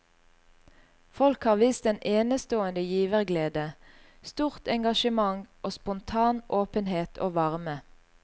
Folk har vist en enestående giverglede, stort engasjement og spontan åpenhet og varme.